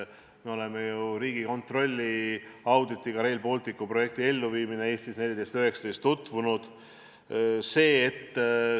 Me oleme ju Riigikontrolli auditiga "Rail Balticu projekti rahastamine ja elluviimine Eestis aastatel 2014–2019" tutvunud.